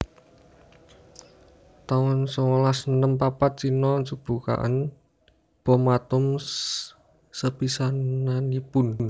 taun songolas enem papat Cino njebugaken bom atom sepisanannipun